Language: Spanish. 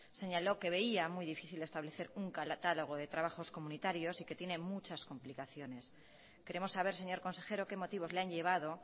señaló que veía muy difícil establecer un catálogo de trabajos comunitarios y que tiene muchas complicaciones queremos saber señor consejero qué motivos le han llevado